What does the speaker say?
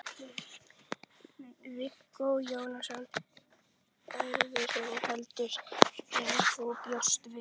Viggó Jónsson: Erfiðara heldur en þú bjóst við?